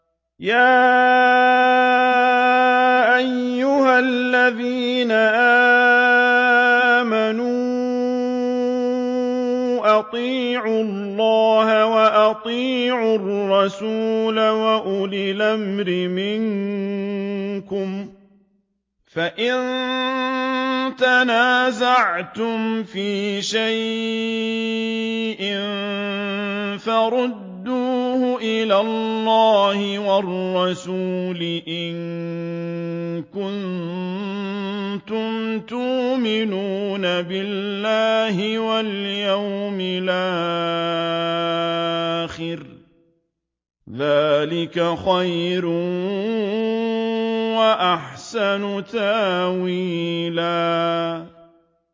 يَا أَيُّهَا الَّذِينَ آمَنُوا أَطِيعُوا اللَّهَ وَأَطِيعُوا الرَّسُولَ وَأُولِي الْأَمْرِ مِنكُمْ ۖ فَإِن تَنَازَعْتُمْ فِي شَيْءٍ فَرُدُّوهُ إِلَى اللَّهِ وَالرَّسُولِ إِن كُنتُمْ تُؤْمِنُونَ بِاللَّهِ وَالْيَوْمِ الْآخِرِ ۚ ذَٰلِكَ خَيْرٌ وَأَحْسَنُ تَأْوِيلًا